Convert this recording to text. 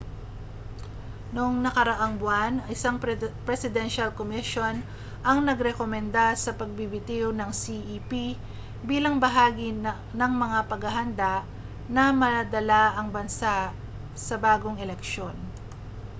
noong nakaraang buwan isang presidensyal komisyon ang nagrekomenda sa pagbibitiw ng cep bilang bahagi ng mga paghahanda na madala ang bansa sa bagong eleksyon